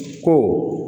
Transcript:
Ko